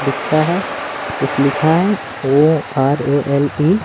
लिखा है कुछ लिखा है O R A L E --